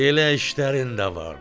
Belə işlərin də varmış.